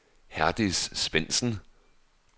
Herdis Svendsen